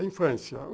A infância.